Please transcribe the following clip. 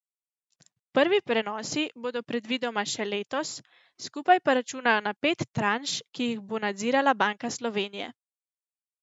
Prvi prenosi bodo predvidoma še letos, skupaj pa računajo na pet tranš, ki jih bo nadzirala Banka Slovenije.